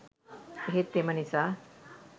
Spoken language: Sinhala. එහෙත් එම නිසා